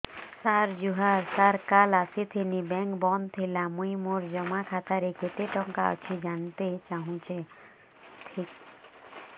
ସାର ଜୁହାର ସାର କାଲ ଆସିଥିନି ବେଙ୍କ ବନ୍ଦ ଥିଲା ମୁଇଁ ମୋର ଜମା ଖାତାରେ କେତେ ଟଙ୍କା ଅଛି ଜାଣତେ ଚାହୁଁଛେ ଦେଖିକି କହୁନ ନା କେତ ପଇସା ଅଛି